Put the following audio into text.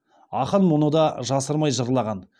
ақын мұны да жасырмай жырлаған